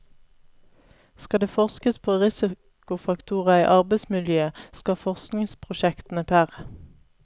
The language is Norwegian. Skal det forskes på risikofaktorer i arbeidsmiljøet, skal forskningsprosjektene pr.